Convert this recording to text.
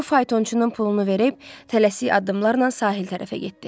O faytonçunun pulunu verib tələsik addımlarla sahil tərəfə getdi.